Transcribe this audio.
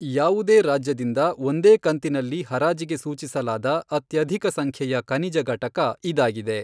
ಯಾವುದೇ ರಾಜ್ಯದಿಂದ ಒಂದೇ ಕಂತಿನಲ್ಲಿ ಹರಾಜಿಗೆ ಸೂಚಿಸಲಾದ ಅತ್ಯಧಿಕಸಂಖ್ಯೆಯ ಖನಿಜ ಘಟಕ ಇದಾಗಿದೆ.